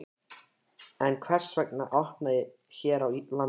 En hvers vegna að opna hér á landi?